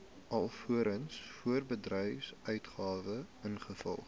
alvorens voorbedryfsuitgawes ingevolge